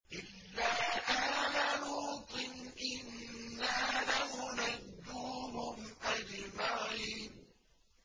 إِلَّا آلَ لُوطٍ إِنَّا لَمُنَجُّوهُمْ أَجْمَعِينَ